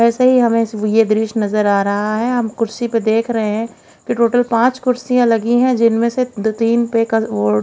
ऐसे ही हमें यह दृश्य नजर आ रहा है हम कुर्सी पर देख रहे हैं कि टोटल पांच कुर्सियां लगी हैं जिनमें से दो तीन पे वो --